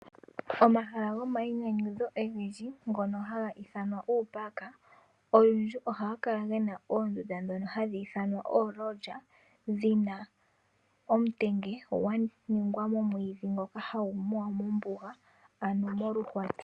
Omaha gomainyanyudho ogendji ngono ha ga iithanwa uupark, olundji oha ga kala ge na oondunda dhono hadhi ithanwa oolodge. Dhina omutenge gwa ningwa moomwiidhi ngoka ha gu muwa mombuga.